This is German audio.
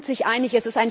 Alle sind sich einig.